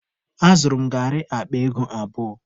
Azụrụ m garị akpa ego abụọ.